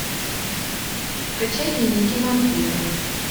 скачай дневники вампира